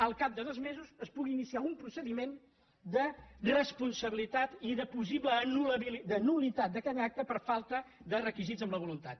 al cap de dos mesos es pugui iniciar un procediment de responsabilitat i de possible nul·litat d’aquell acte per falta de requisits en la volun·tat